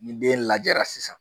Ni den lajɛra sisan